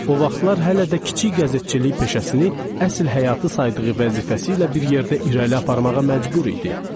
O vaxtlar hələ də kiçik qəzetçilik peşəsini əsl həyatı saydığı vəzifəsi ilə bir yerdə irəli aparmağa məcbur idi.